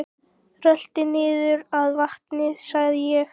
Rölti niður að vatni sagði ég.